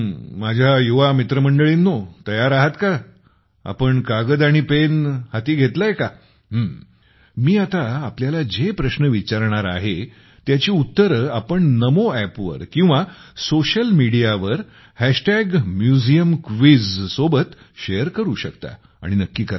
माझ्या युवा मित्रमंडळींनो तयार आहात का तुम्ही कागद पेन हातात घेतले का मी आत्ता तुम्हाला जे प्रश्न विचारणार आहे त्यांची उत्तरे तुम्ही नमो अॅपवर किंवा सोशल मीडियावर MuseumQuizसोबत शेअर करू शकता आणि नक्की करा